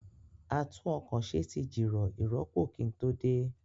A tún ọkọ̀ ṣe tí jìrọ̀ ìrọpo kí n tó dé